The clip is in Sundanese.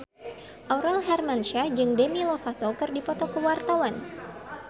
Aurel Hermansyah jeung Demi Lovato keur dipoto ku wartawan